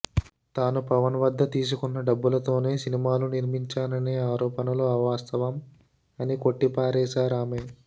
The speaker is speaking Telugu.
తాను పవన్ వద్ద తీసుకున్న డబ్బులతోనే సినిమాలు నిర్మించాననే ఆరోపణలు అవాస్తవం అని కొట్టిపారేశారామె